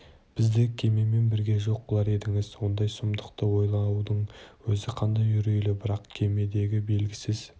бізді кемемен бірге жоқ қылар едіңіз ондай сұмдықты ойлаудың өзі қандай үрейлі бірақ кемедегі белгісіз